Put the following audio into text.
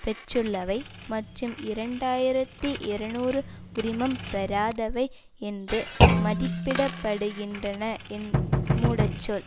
பெற்றுள்ளவை மற்றும் இரண்டு ஆயிரத்தி இருநூறு உரிமம் பெறாதவை என்று மதிப்பிடப்படுகின்றன மூடச் சொல்